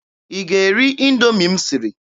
Ị ga-eri Indoomi m siri?